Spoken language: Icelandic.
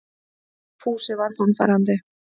Fúsi var sannfærandi.